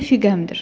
Rəfiqəmdir.